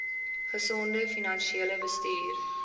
gesonde finansiële bestuur